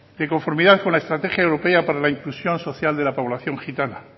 de conformidad con la estrategia europea para la inclusión social de la población gitana